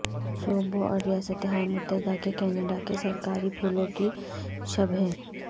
صوبوں اور ریاستہائے متحدہ کے کینیڈا کے سرکاری پھولوں کی شبیہیں